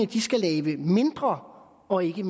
de skal lave mindre og ikke